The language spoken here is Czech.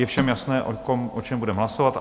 Je všem jasné, o čem budeme hlasovat.